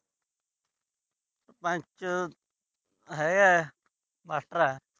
ਸਰਪੰਚ ਹੈਗਾ ਮਾਸਟਰ ਆ।